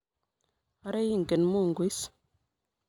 Ara ingen Mungu is